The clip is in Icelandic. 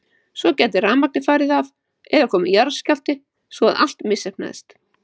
Svo gæti rafmagnið farið af eða komið jarðskjálfti svo að allt misheppnaðist.